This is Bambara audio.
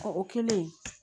Ɔ o kɛlen